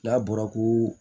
N'a bɔra ko